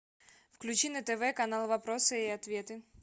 включи на тв канал вопросы и ответы